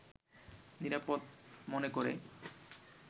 নিরাপদ মনে করে